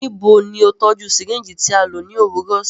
Nibo ni o tọju syringe ti a lo ni owurọ si?